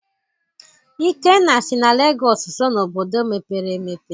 Ikenna sị na Lagos so na obodo mepere emepe.